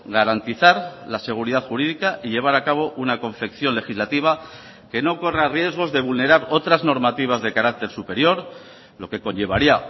garantizar la seguridad jurídica y llevar a cabo una confección legislativa que no corra riesgos de vulnerar otras normativas de carácter superior lo que conllevaría